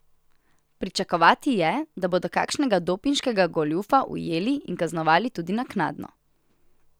Pričakovati je, da bodo kakšnega dopinškega goljufa ujeli in kaznovali tudi naknadno.